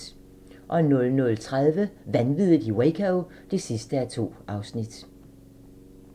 00:30: Vanviddet i Waco (2:2)